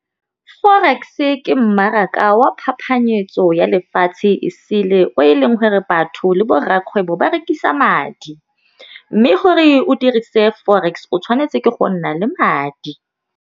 Forex-e ke mmaraka wa phapanyetso ya lefatshe e sele o e leng gore batho le borrakgwebo ba rekisa madi, mme gore o dirise forex o tshwanetse ke go nna le madi.